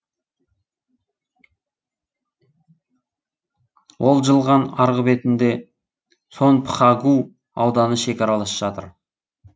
ол жылған арғы бетінде сонпхагу ауданы шекаралас жатыр